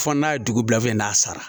Fɔ n'a ye dugu bila fɛn na sara